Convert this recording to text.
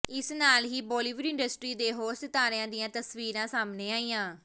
ਇਸ ਨਾਲ ਹੀ ਬਾਲੀਵੁਡ ਇੰਡਸਟਰੀ ਦੇ ਹੋਰ ਸਿਤਾਰਿਆਂ ਦੀਆਂ ਤਸਵੀਰਾਂ ਸਾਹਮਣੇ ਆਈਆਂ